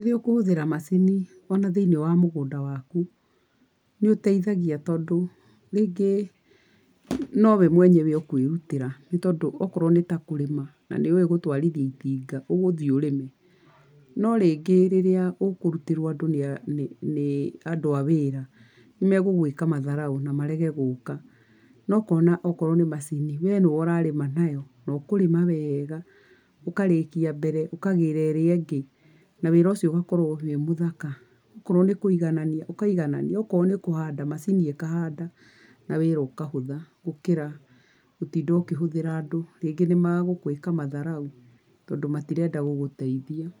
Rĩu kũhũthĩra macini ona thĩiniĩ wa mugũnda waku, nĩ ũtethagia tondũ rĩngi no we mwenyewe ũkũĩrutĩra, nĩ tondũ okorwo nĩ ta kũrĩma, na nĩ ũĩ gũtwarithia itinga, ũgũthiĩ ũrĩme. No rĩngĩ rĩrĩa ũkũrutĩrwo nĩ andũ a wĩra, megũgũĩka matharaũ na marege gũũka, na ũkona o korwo nĩ macini, we nĩwe ũrarĩma nayo na ũkũrĩma wega ũkarĩkia mbere, ũkagĩra ĩrĩa ĩngĩ na wĩra ũcio ũgakorwo wĩ mũthaka. Okorwo nĩ kũiganania, ũkaiganania, okowro nĩ kũhanda, macini ĩkahanda, na wĩra ũkahũtha. Gũkĩra, gũtinda ũkĩhũthĩra andũ, rĩngĩ nĩ magũgwĩka matharaũ tondũ matirenda gũgũteithia.